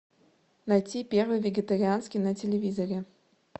найти первый вегетарианский на телевизоре